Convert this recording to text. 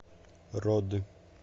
роды